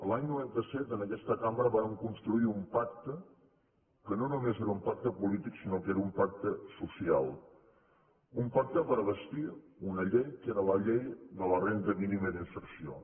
l’any noranta set en aquesta cambra vàrem construir un pacte que no només era un pacte polític sinó que era un pacte social un pacte per bastir una llei que era la llei de la renda mínima d’inserció